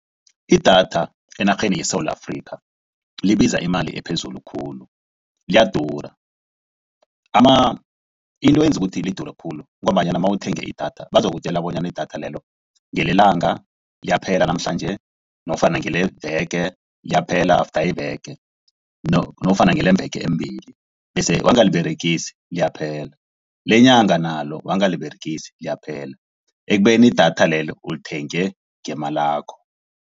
Idatha enarheni yeSewula Afrika libiza imali ephezulu khulu liyadura. Into eyenza ukuthi lidure khulu ngombanyana nawuthenga idatha bazokutjela bonyana idatha lelo ngelelanga liyaphela namhlanje nofana ngeleveke liyaphela after iveke nofana ngelemveke embili. Bese wangaliberegisi liyaphela. Lenyanga nalo wangaliberegisi liyaphela ekubeni idatha lelo ulithenge ngemalakho.